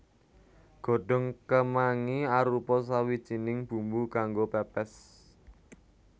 Godhong kemangi arupa sawijining bumbu kanggo pèpès